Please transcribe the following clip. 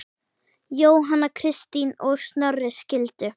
Jóhanna Kristín og Snorri skildu.